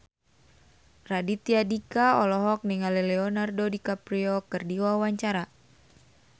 Raditya Dika olohok ningali Leonardo DiCaprio keur diwawancara